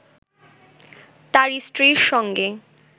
তার স্ত্রীর সঙ্গে